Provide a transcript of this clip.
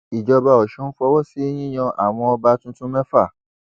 ìjọba ọsùn fọwọ sí yíyan àwọn ọba tuntun mẹfà